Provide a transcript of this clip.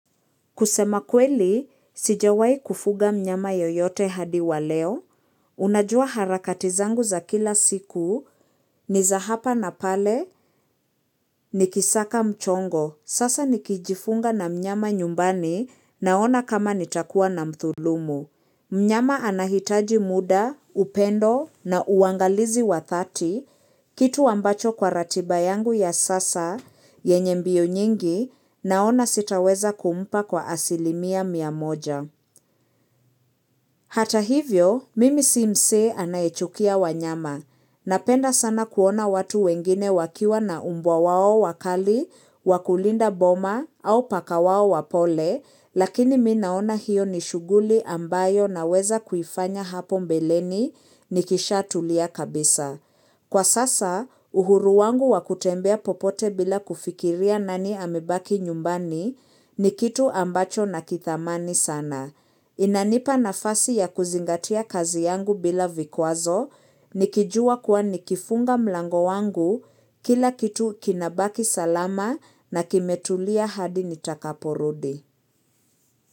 Kusema kweli, sijawahi kufuga mnyama yoyote hadi wa leo, unajua harakati zangu za kila siku, ni za hapa na pale, nikisaka mchongo, sasa nikijifunga na mnyama nyumbani naona kama nitakuwa na mdhulumu. Mnyama anahitaji muda, upendo na uangalizi wa dhati, kitu ambacho kwa ratiba yangu ya sasa, yenye mbio nyingi, naona sitaweza kumpa kwa asilimia miamoja. Hata hivyo, mimi si msee anayechukia wanyama. Napenda sana kuona watu wengine wakiwa na mbwa wao wakali, wakulinda boma, au paka wao wapole, lakini mimi naona hiyo ni shughuli ambayo naweza kuifanya hapo mbeleni ni kisha tulia kabisa. Kwa sasa, uhuru wangu wa kutembea popote bila kufikiria nani amebaki nyumbani ni kitu ambacho na kithamani sana. Inanipa nafasi ya kuzingatia kazi yangu bila vikwazo nikijua kuwa nikifunga mlango wangu kila kitu kinabaki salama na kimetulia hadi nitakaporudi.